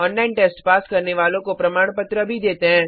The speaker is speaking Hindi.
ऑनलाइन टेस्ट पास करने वालों को प्रमाण पत्र भी देते हैं